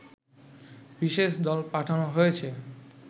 বিশেষ দল পাঠানো হয়েছে